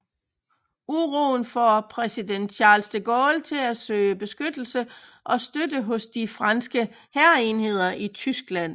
Uroen får præsident Charles de Gaulle til at søge beskyttelse og støtte hos de franske hærenheder i Tyskland